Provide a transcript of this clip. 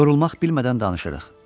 yorulmaq bilmədən danışırıq.